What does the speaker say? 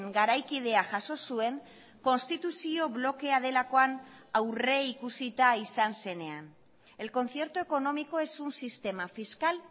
garaikidea jaso zuen konstituzio blokea delakoan aurreikusita izan zenean el concierto económico es un sistema fiscal